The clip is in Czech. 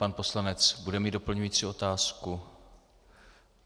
Pan poslanec bude mít doplňující otázku?